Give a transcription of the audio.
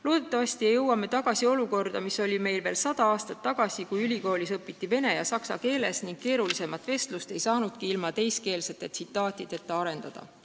Loodetavasti ei jõua me tagasi olukorda, mis valitses Eestis sada aastat tagasi, kui ülikoolis õpiti vene ja saksa keeles ning keerulisemat vestlust ei saanudki ilma teiskeelsete tsitaatideta arendada.